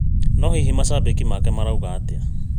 No hihi macambĩki make marauga atĩa